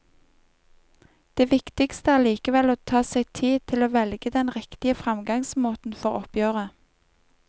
Det viktigste er likevel å ta seg tid til å velge den riktige fremgangsmåten for oppgjøret.